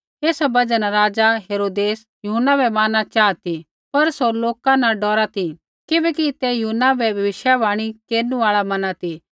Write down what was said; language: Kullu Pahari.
एसा बजहा न राज़ा हेरोदेस यूहन्ना बै मारना चाहा ती पर सौ लोका न डौरा ती किबैकि ते यूहन्ना बै भविष्यवाणी केरनु आल़ा मना ती